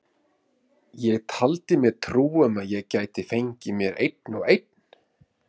Ég taldi mér trú um að ég gæti fengið mér einn og einn.